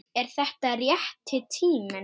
Er þetta rétti tíminn?